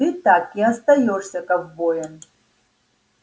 ты так и остаёшься ковбоем